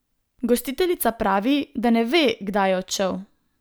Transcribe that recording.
Gostiteljica pravi, da ne ve, kdaj je odšel.